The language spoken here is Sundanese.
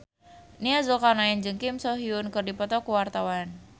Nia Zulkarnaen jeung Kim So Hyun keur dipoto ku wartawan